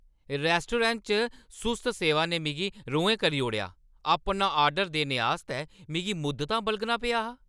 रैस्टोरैंटै च सुस्त सेवा ने मिगी रोहैं करी ओड़ेआ। अपना आर्डर देने आस्तै मिगी मुद्दतां बलगना पेआ हा!